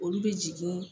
Olu bɛ jigin